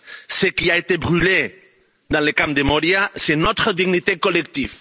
Ce qui a été brûlé dans le camp de Moria, c'est notre dignité collective.